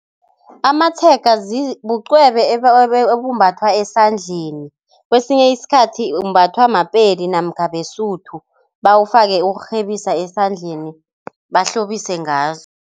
Amatshega bucwebe obumbathwa esandleni, kwesinye isikhathi umbathwa maPedi namkha beSuthu bawufake ukurhebisa esandleni bahlobise ngazo.